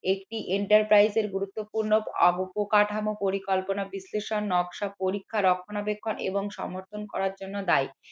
একটি enterprise এর গুরুত্বপূর্ণ অবকাঠামো পরিকল্পনা বিশ্লেষণ নকশা পরীক্ষার রক্ষণাবেক্ষণ এবং সমর্থন করার জন্য দায়ী।